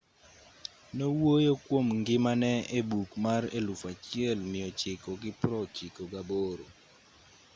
nowuoyo kuom ngimane e buk mar 1998